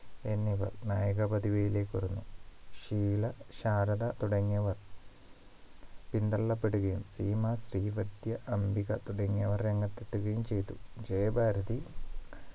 എന്നിവർ നായക പദവിയിലേക്ക് വന്നു ഷീല ശാരദ തുടങ്ങിയവർ പിന്തള്ളപ്പെടുകയും സീമ ശ്രീവദ്യ അംബിക തുടങ്ങിയവർ രംഗത്തെത്തുകയും ചെയ്തു ജയഭാരതി